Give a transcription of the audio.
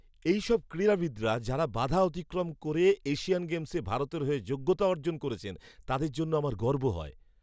এইসব ক্রীড়াবিদরা যাঁরা বাধা অতিক্রম করে এশিয়ান গেমসে ভারতের হয়ে যোগ্যতা অর্জন করেছেন, তাঁদের জন্য আমার গর্ব হয়।